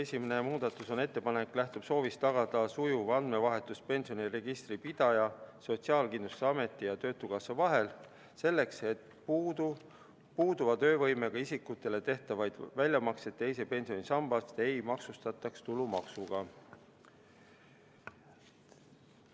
Esimene muudatusettepanek lähtub soovist tagada sujuv andmevahetus pensioniregistri pidaja, Sotsiaalkindlustusameti ja töötukassa vahel, et puuduva töövõimega isikutele teisest pensionisambast tehtavaid väljamakseid ei maksustataks tulumaksuga.